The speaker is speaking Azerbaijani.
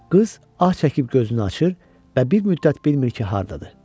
Qız ah çəkib gözünü açır və bir müddət bilmir ki, hardadır.